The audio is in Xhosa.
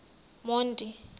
monti